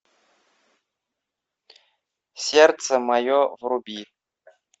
сердце мое вруби